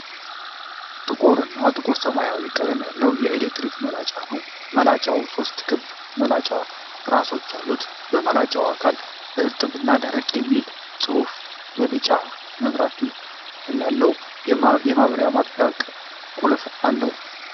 ጥቁር እና ጥቁር ሰማያዊ ቀለም ያለው የኤሌክትሪክ መላጫ ነው። መላጫው ሦስት ክብ መላጫ ራሶች አሉት። የመላጫው አካል "እርጥብ እና ደረቅ" የሚል ጽሑፍ እና ቢጫ መብራት ያለው የማብሪያ/ማጥፊያ ቁልፍ አለው።